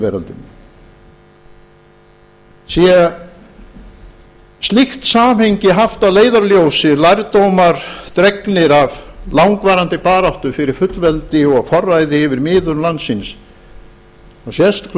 veröldinni sé slíkt samhengi haft að leiðarljósi lærdómar dregnir af langvarandi baráttu fyrir fullveldi og forræði yfir miðum landsins sést